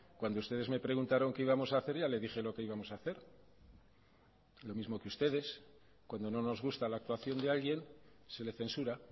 cuando ustedes me preguntaron qué íbamos a hacer ya le dije lo que íbamos a hacer lo mismo que ustedes cuando no nos gusta la actuación de alguien se le censura